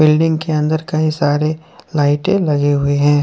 Building के अंदर कई सारे लाइटें लगे हुए हैं।